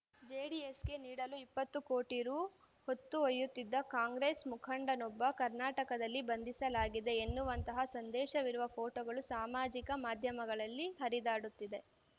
ಜೆಡಿಎಸ್‌ಗೆ ನೀಡಲು ಇಪ್ಪತ್ತು ಕೋಟಿ ರು ಹೊತ್ತೊಯ್ಯತ್ತಿದ್ದ ಕಾಂಗ್ರೆಸ್‌ ಮುಖಂಡನೊಬ್ಬನನ್ನು ಕರ್ನಾಟಕದಲ್ಲಿ ಬಂಧಿಸಲಾಗಿದೆ ಎನ್ನುವಂತಹ ಸಂದೇಶವಿರುವ ಫೋಟೋಗಳು ಸಾಮಾಜಿಕ ಮಾಧ್ಯಮಗಳಲ್ಲಿ ಹರಿದಾಡುತ್ತಿದೆ